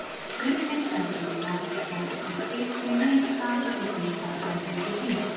Hurðin smellur í lás, fótatak Bylgju nemur staðar við dyrnar á herbergi Hrings.